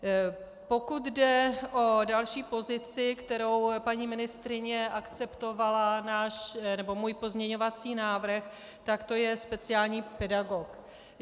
Pokud jde o další pozici, kterou paní ministryně akceptovala, můj pozměňovací návrh, tak to je speciální pedagog.